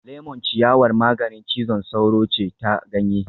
Lemon ciyawar maganin cizon sauro ce ta ganye